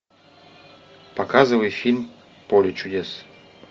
показывай фильм поле чудес